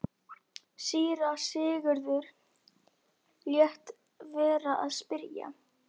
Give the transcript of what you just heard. Síra Sigurður lét vera að spyrja.